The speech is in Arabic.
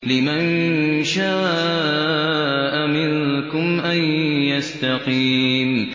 لِمَن شَاءَ مِنكُمْ أَن يَسْتَقِيمَ